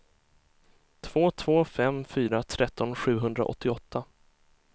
två två fem fyra tretton sjuhundraåttioåtta